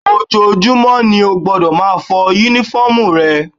Ojoojúmọ́ ni o gbọ́dọ̀ máa fọ Únífọ́ọ̀mù rẹ